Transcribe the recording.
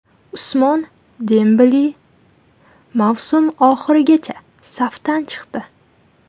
Usmon Dembele mavsum oxirigacha safdan chiqdi.